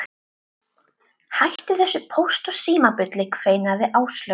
Hættu þessu Póst og Síma bulli kveinaði Áslaug.